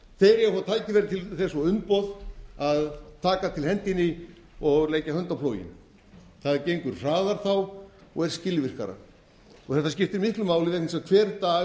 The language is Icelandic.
að fá tækifæri til þess og umboð að taka til hendinni og leggja hönd á plóginn það gengur hraðar þá og er skilvirkara þetta skiptir miklu máli vegna þess að